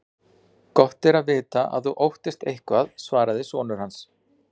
Gott er að vita að þú óttast eitthvað, svaraði sonur hans.